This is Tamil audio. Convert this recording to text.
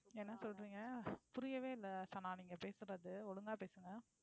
என்ன சொல்றீங்க? புரியவே இல்லை சனா நீங்க பேசுறது ஒழுங்கா பேசுங்க.